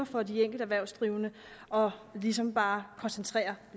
for de enkelte erhvervsdrivende og ligesom bare koncentrerer